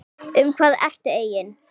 Um hvað ertu eigin